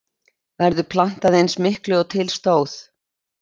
Verður plantað eins miklu og til stóð?